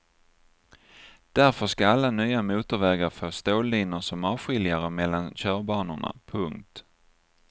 Därför ska alla nya motorvägar få stållinor som avskiljare mellan körbanorna. punkt